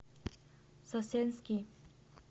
сосенский